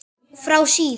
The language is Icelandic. Frá síð